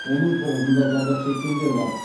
оның тоғызында зардап шеккендер бар